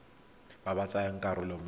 ba ba tsayang karolo mo